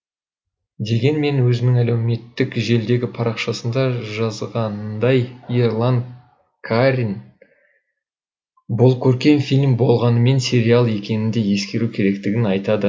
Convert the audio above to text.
дегенмен өзінің әлеуметтік желідегі парақшасында жазғанындай ерлан қарин бұл көркем фильм болғанымен сериал екенін де ескеру керектігін айтады